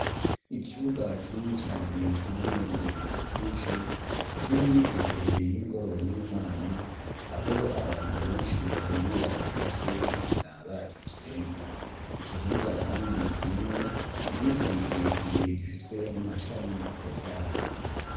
ikibuga kinini cane kirimwo ibivu vyinshi kiri imbere y'ingoro y'imana aho abantu benshi bahurira ku munsi w'imana baje gusenga ico kibuga kandi kirimwo igiti kirekire gifise n'amashami atotahaye